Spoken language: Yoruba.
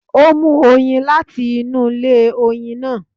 Ó mú oyin láti inú ilé oyin náà.